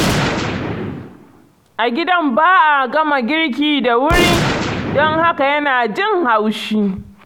A gidan ba a gama girki da wuri, don haka yana jin haushi.